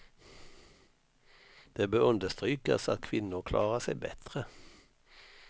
Det bör understrykas att kvinnor klarar sig bättre.